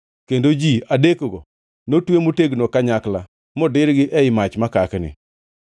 kendo ji adekgo notwe motegno kanyakla modirgi ei mach makakni.